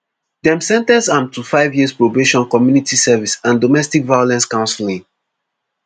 dem sen ten ce am to five years probation community service and domestic violence counselling